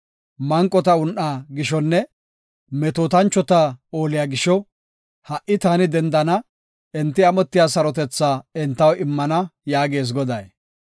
“Manqota un7aa gishonne, metootanchota ooliya gisho, ha77i taani dendana; enti amotiya sarotethaa entaw immana” yaagees Goday.